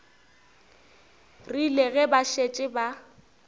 rile ge ba šetše ba